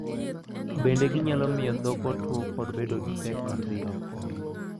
Bende ginyalo miyo dhok otwo kod bedo gi pek mar dhi oko.